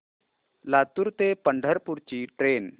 लातूर ते पंढरपूर ची ट्रेन